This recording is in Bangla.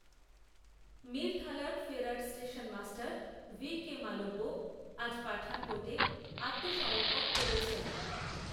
মিরথালার ফেরার স্টেশনমাস্টার ভি কে মালব্য আজ পাঠানকোটে আত্মসমর্পণ করেছেন